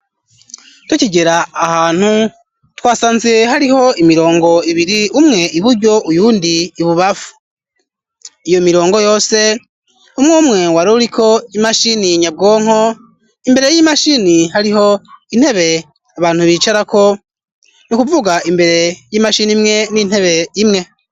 Tukigera ahantu twasanze hariho imirongo ibiri, umwe iburyo uyundi ibubafu, iyo mirongo yose umwe umwe waruriko imashini nyabwonko imbere y'imashini hariho intebe abantu bicarako, ni kuvuga imbere y'imashini imwe n'intebe imwe.